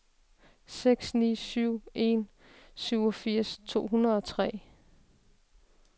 seks ni syv en syvogfirs to hundrede og tre